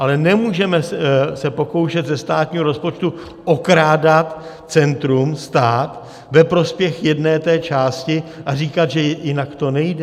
Ale nemůžeme se pokoušet ze státního rozpočtu okrádat centrum, stát, ve prospěch jedné té části a říkat, že jinak to nejde.